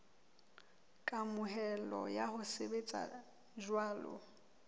kamohelo ya ho sebetsa jwalo